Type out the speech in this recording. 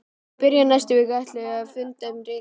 Í byrjun næstu viku ætluðu þeir að funda um rekann.